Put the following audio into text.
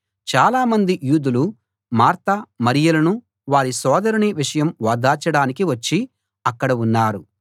చాలామంది యూదులు మార్త మరియలను వారి సోదరుని విషయం ఓదార్చడానికి వచ్చి అక్కడ ఉన్నారు